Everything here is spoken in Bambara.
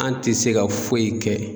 An ti se ka foyi kɛ